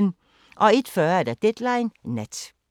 01:40: Deadline Nat